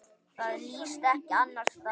Það líðst ekki annars staðar.